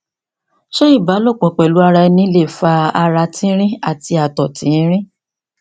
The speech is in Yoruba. ṣe iba lopo pelu ara eni le fa ara tinrin ati ato tinrin